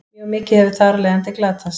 mjög mikið hefur þar af leiðandi glatast